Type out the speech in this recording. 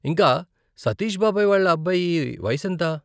ఇంకా, సతీష్ బాబాయి వాళ్ళ అబ్బాయి వయసు ఎంత?